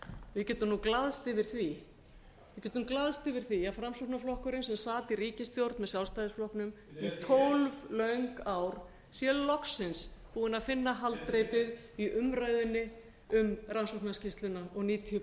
við getum glaðst yfir því við getum glaðst yfir því að framsóknarflokkurinn sem sat í ríkisstjórn með sjálfstæðisflokknum í tólf löng ár sé loksins búinn að finna haldreipið í umræðunni um rannsóknarskýrsluna og níutíu